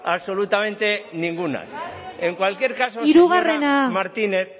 absolutamente ninguna en cualquier caso señora martínez